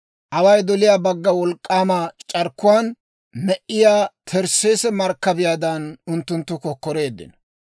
Away doliyaa bagga wolk'k'aama c'arkkuwaan, me"iyaa Tarsseese markkabiyaadan unttunttu kokkoreeddino.